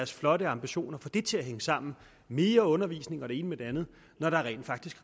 flotte ambitioner få det til at hænge sammen mere undervisning og det ene med det andet når der rent faktisk